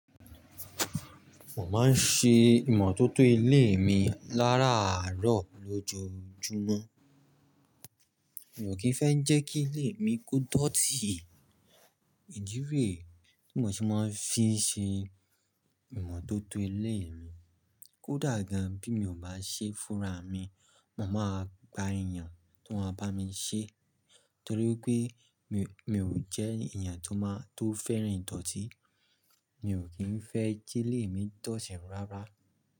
Mo máa ń ṣe ìmọ̀tótó ilée mi láràárọ̀ lójoojúmọ́. Mi ò kí ń fẹ́ jẹ́ kí ilée mi ko dọ̀tí. Ìdí rẹ̀e, tí mo ṣe máa fi n ṣe ìmọ̀tótó ileé mi. Kódà gan bí mi ò bá ṣe fúnra mi, mo máa gba èèyàn ti won a bá mi ṣee torí pé mi, mi ò jẹ́ èèyàn tó máa, tó fẹ́ràn ìdọ̀tí. Mi ò kí ń fẹ́ kí ilé mi dọ̀tí rárá.